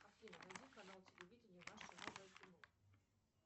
афина найди канал телевидения наше новое кино